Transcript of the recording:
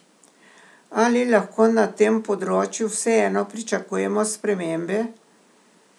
Ali lahko na tem področju vseeno pričakujemo spremembe?